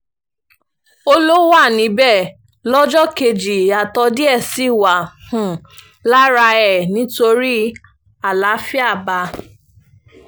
ó um lọ wà níbẹ̀ lọ́jọ́ kejì ìyàtọ̀ díẹ̀ sì wà um lára ẹ̀ nítorí àlàáfíà bá a